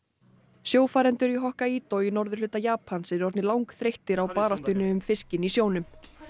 sjófarendur í Hokkaido í norðurhluta Japans eru orðnir langþreyttir á baráttunni um fiskinn í sjónum